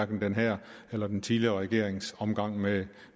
den her eller den tidligere regerings omgang med